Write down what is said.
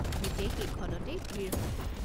গোটেই কেইখনতেই ভিৰ হয়।